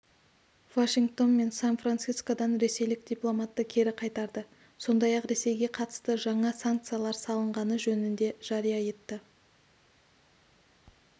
вашингтон мен сан-францискодан ресейлік дипломатты кері қайтарды сондай-ақ ресейге қатысты жаңа санкциялар салынғаны жөнінде жария етті